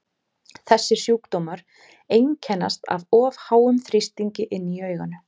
Þessir sjúkdómar einkennast af of háum þrýstingi inni í auganu.